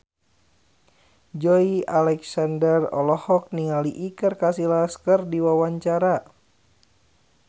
Joey Alexander olohok ningali Iker Casillas keur diwawancara